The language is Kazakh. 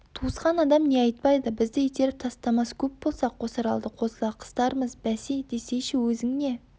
туысқан адам не айтпайды бізді итеріп тастамас көп болса қосаралды қосыла қыстармыз бәсе десейші өзің не